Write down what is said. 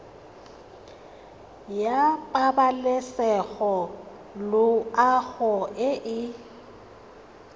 ya pabalesego loago e e